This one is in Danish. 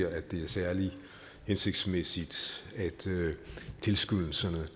at det er særlig hensigtsmæssigt at tilskyndelserne